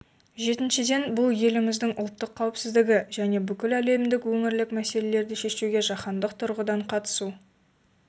жетіншіден бұл еліміздің ұлттық қауіпсіздігі және бүкіләлемдік өңірлік мәселелерді шешуге жаһандық тұрғыдан қатысуы